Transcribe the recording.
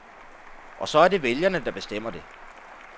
Og så er det vælgerne, der bestemmer det.